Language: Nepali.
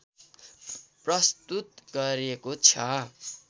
प्रस्तुत गरेको छ